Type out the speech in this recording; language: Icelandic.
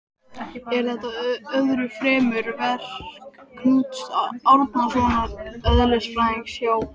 Er þetta öðru fremur verk Knúts Árnasonar eðlisfræðings hjá